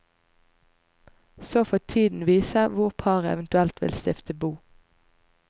Så får tiden vise hvor paret eventuelt vil stifte bo.